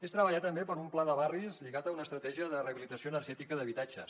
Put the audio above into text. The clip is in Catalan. és treballar també per un pla de barris lligat a una estratègia de rehabilitació energètica d’habitatges